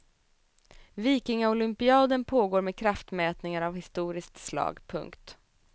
Vikingaolympiaden pågår med kraftmätningar av historiskt slag. punkt